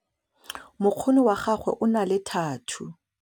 Mokgono wa gagwe o na le thathuu.